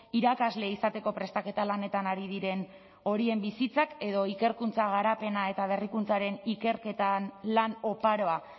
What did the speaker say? irakasle izateko prestaketa lanetan ari diren horien bizitzak edo ikerkuntza garapena eta berrikuntzaren ikerketan lan oparoa